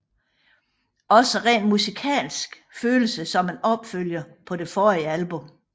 Også rent musikalsk føles det som en opfølger på det forrige album